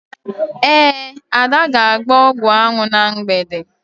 Ee, Ada ga-agba ọgwụanwụ na mgbede.